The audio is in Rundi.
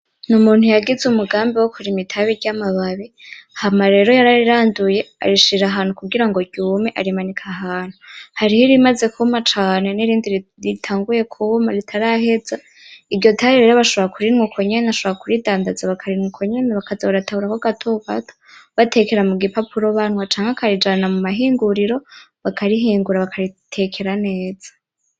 N'umuntu yagize umugambi wo kurima itabi ry'amababi, hama rero yarariranduye arishira ahantu kugira ngo ryume; arimanika ahantu, hariho irimaze kuma cane nirindi ritanguye kuma ritaraheza, iryo tabi rero bashobora kurinwa uko nyene, ashobora kuridandaza bakarinwa uko nyene bakaza barataburako gato gato batekera mu gipapura banwa canke akarijana mu mahinguriro bakarihingura bakaritekera neza.